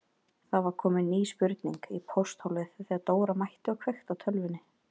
Það var komin ný spurning í pósthólfið þegar Dóra mætti og kveikti á tölvunni.